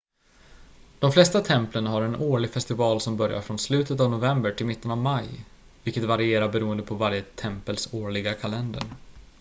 de flesta templen har en årlig festival som börjar från slutet av november till mitten av maj vilket varierar beroende på varje tempels årliga kalender